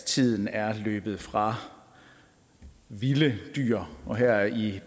tiden er løbet fra vilde dyr og her i